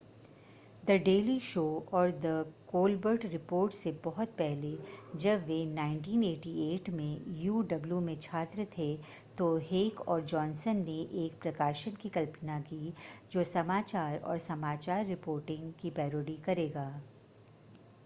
the Daily Show और the Colbert Report से बहुत पहले जब वे 1988 में uw में छात्र थे तो हेक और जॉनसन ने एक प्रकाशन की कल्पना की जो समाचार और समाचार रिपोर्टिंग की पैरोडी करेगा -